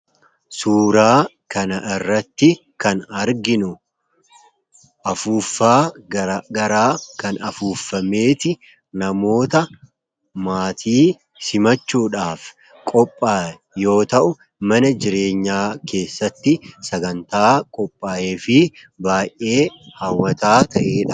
Suuraa kana irratti kan arginu afuuffaa garaa garaa kan afuuffameeti namoota maatii simachuudhaaf qophaa'e yoo ta'u mana jireenyaa keessatti sagantaa qophaa'ee fi baay'ee haawataa ta'eedha.